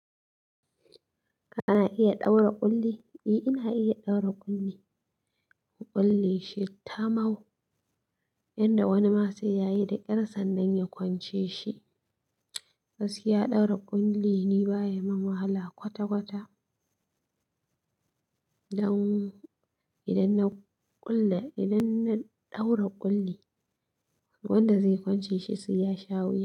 Kana iya ɗaura ƙulli? E, ina iya ɗaura ƙulli. Ƙulle shi tamau, yanda wani ma sai yayi da ƙyar sannan ya kwance shi. Gaskiya ɗaura ƙulli ni baya mun wahala kwata-kwata. Dan idan na ƙulle, idan na ɗaura ƙulli, wanda zai kwance shi sai ya sha wuya.